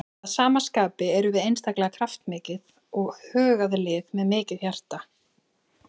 Að sama skapi erum við einstaklega kraftmikið og hugað lið með mikið hjarta.